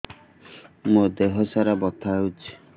ମୋ ଦିହସାରା ବଥା ହଉଚି